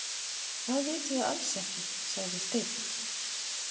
Það vitum við alls ekki, sagði Steinn.